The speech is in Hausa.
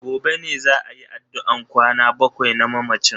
Gobe ne za ayi addu'an kwana bakwai na mamacin.